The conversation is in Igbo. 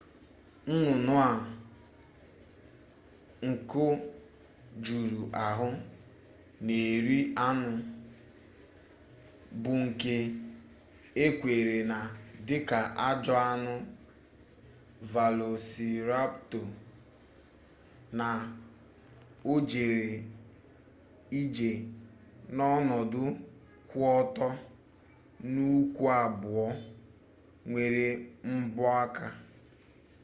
nnụnụ a nku juru ahụ na-eri anụ bụ nke ekweere na dika ajọ anụ velosiraptọ na o jere ije n'ọnọdụ kwụ ọtọ n'ụkwụ abụọ nwere mbọ aka